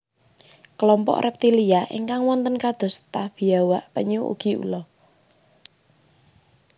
Klompok reptilia ingkang wonten kados ta biawak penyu ugi ula